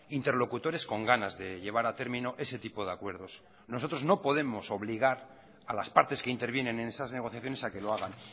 interlocutores con ganas de llevar a término ese tipo de acuerdos nosotros no podemos obligar a las partes que intervienen en esas negociaciones a que lo hagan